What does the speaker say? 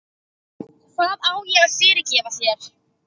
Hvað á ég að fyrirgefa þér?